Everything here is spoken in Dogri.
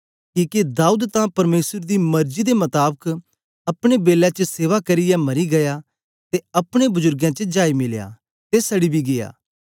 किके दाऊद तां परमेसर दी मर्जी दे मताबक अपने बेलै च सेवा करियै मरी गीया ते अपने बजुर्गें च जाई मिलया ते सड़ी बी गीया